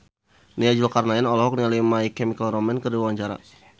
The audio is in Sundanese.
Nia Zulkarnaen olohok ningali My Chemical Romance keur diwawancara